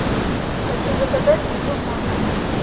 хочу заказать еду в номер